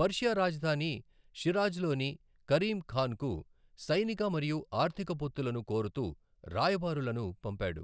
Persia రాజధాని షిరాజ్లోని Karim ఖాన్కు సైనిక మరియు ఆర్థిక పొత్తులను కోరుతూ రాయబారులను పంపాడు.